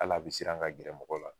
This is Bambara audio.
Hali a bi siran ka gɛrɛ mɔgɔw la.